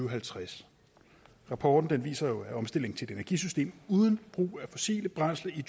og halvtreds rapporten viser jo at omstilling til et energisystem uden brug af fossile brændsler i